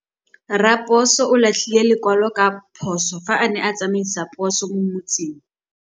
Raposo o latlhie lekwalô ka phosô fa a ne a tsamaisa poso mo motseng.